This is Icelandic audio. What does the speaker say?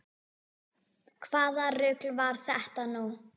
Hvaða rugl var þetta nú?